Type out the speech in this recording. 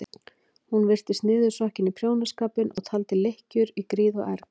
Hún virtist niðursokkin í prjónaskapinn og taldi lykkjur í gríð og erg.